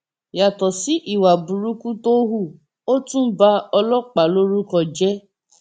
yàtọ sí ìwà burúkú tó hù ó tún ba ọlọpàá lórúkọ jẹ